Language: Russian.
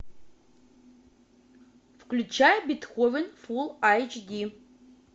включай бетховен фул айч ди